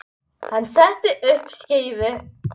Hann setti upp skeifu.